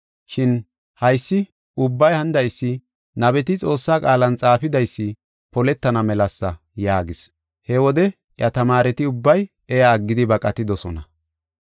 Shin haysi ubbay hanidaysi nabeti Xoossaa qaalan xaafidaysi poletana melasa” yaagis. He wode iya tamaareti ubbay iya aggidi baqatidosona.